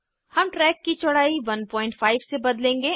हम ट्रैक की चौड़ाई 15 से बदलेंगे